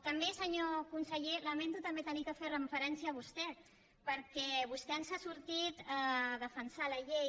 també senyor conseller lamento també haver de fer referència a vostè perquè vostè ens ha sortit a defensar la llei